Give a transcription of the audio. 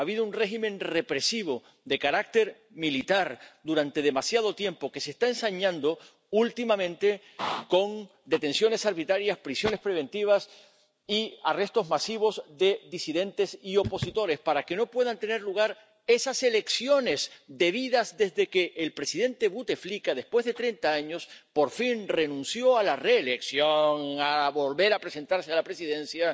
Ha habido un régimen represivo de carácter militar durante demasiado tiempo, que se está ensañando últimamente con detenciones arbitrarias, prisiones preventivas y arrestos masivos de disidentes y opositores para que no puedan tener lugar esas elecciones debidas desde que el presidente Buteflika, después de treinta años, por fin renunció a la reelección, a volver a presentarse a la presidencia.